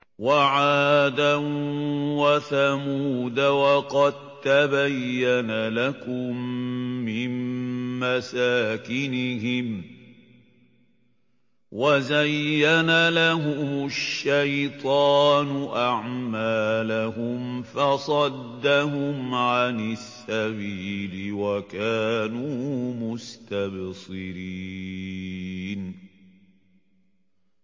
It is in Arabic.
وَعَادًا وَثَمُودَ وَقَد تَّبَيَّنَ لَكُم مِّن مَّسَاكِنِهِمْ ۖ وَزَيَّنَ لَهُمُ الشَّيْطَانُ أَعْمَالَهُمْ فَصَدَّهُمْ عَنِ السَّبِيلِ وَكَانُوا مُسْتَبْصِرِينَ